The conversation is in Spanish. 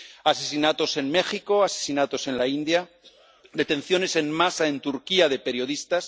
Asesinatos en México, asesinatos en la India, detenciones en masa en Turquía de periodistas